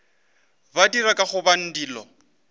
ba dira ka gobane dilo